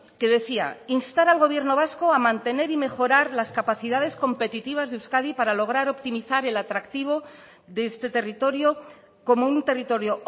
que decía instar al gobierno vasco a mantener y mejorar las capacidades competitivas de euskadi para lograr optimizar el atractivo de este territorio como un territorio